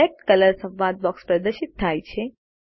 select colour સંવાદ box પ્રદર્શિત થાય છે